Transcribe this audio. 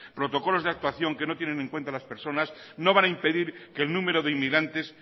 protocolos de actuación que no tienen en cuenta las personas no van a impedir que el número de inmigrantes